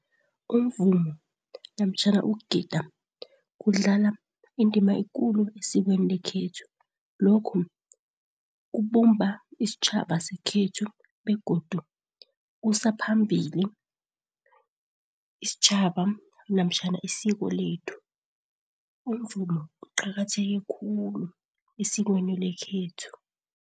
Umvumo namtjhana ukugida kudlala indima ekulu esikweni lekhethu. Lokhu kubumba isitjhaba sekhethu, begodu kusa phambili isitjhaba namtjhana isiko lethu. Umvumo uqakatheke khulu esikweni lekhethu.